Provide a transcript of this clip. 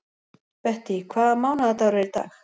Bettý, hvaða mánaðardagur er í dag?